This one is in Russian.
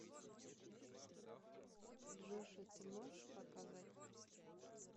джошуа ты можешь показать